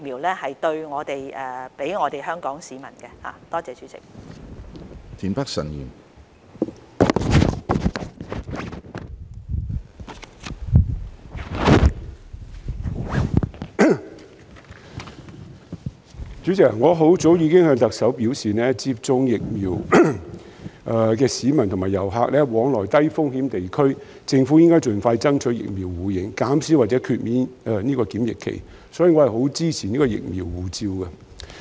主席，我很早之前已向特首表示，為讓已接種疫苗的市民和遊客往來低風險地區，政府應該盡快爭取疫苗互認，減少或豁免檢疫期，所以我十分支持"疫苗護照"。